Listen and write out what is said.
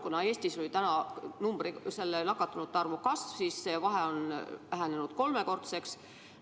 Kuna Eestis on ka nakatunute arv kasvanud, siis see vahe on vähenenud kolmekordseks.